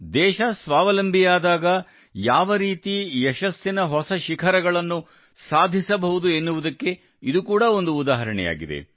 ದೇಶ ಸ್ವಾವಲಂಬಿಯಾದಾಗ ಯಾವ ರೀತಿ ಯಶಸ್ಸಿನ ಹೊಸ ಶಿಖರಗಳನ್ನು ಸಾಧಿಸಬಹುದು ಎನ್ನುವುದಕ್ಕೆ ಇದು ಕೂಡಾ ಒಂದು ಉದಾಹರಣೆಯಾಗಿದೆ